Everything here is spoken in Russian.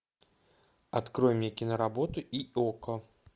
открой мне киноработу йоко